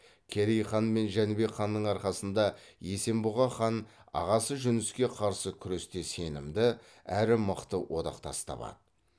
керей хан мен жәнібек ханның арқасында есенбұға хан ағасы жүніске қарсы күресте сенімді әрі мықты одақтас табады